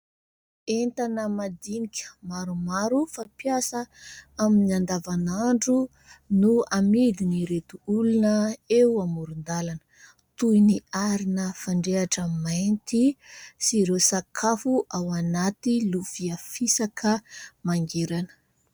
Entana madinika maromaro fampiasa amin'ny andavan'andro, no amidin'ireto olona eo amoron-dalana. Toy ny arina fandrehatra mainty sy ireo sakafo ao anaty lovia fisaka mangirana.